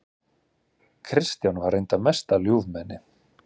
Kristján var reyndar mesta ljúfmenni.